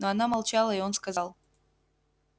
но она молчала и он сказал